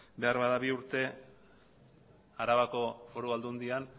beharbada bi urte arabako foru aldundian